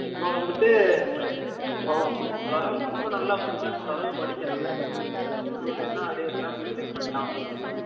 இப்ப வந்துட்டு ஆ அதாவது ரொம்ப னல்லா படிக்காம ஒரு அலவுக்கு படிக்க்ரான் sem லை எல்லம் arrear இல்லாம clear பன்னிடான்